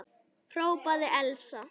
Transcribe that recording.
hrópaði Elsa.